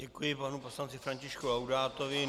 Děkuji panu poslanci Františku Laudátovi.